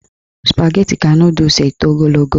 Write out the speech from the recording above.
Spageti ka nọdụs eto ogologo.